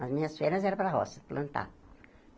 Nas minhas férias era para a roça, plantar.